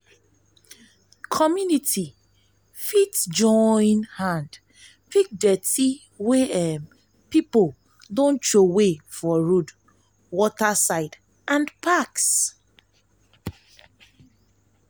community fit join hand pick dirty wey um pipo um don trowey for road water side um and parks